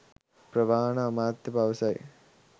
ප්‍රවාහන අමාත්‍ය පවසයි